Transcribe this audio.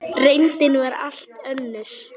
Reyndin var allt önnur.